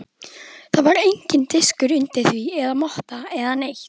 Það var enginn diskur undir því eða motta eða neitt.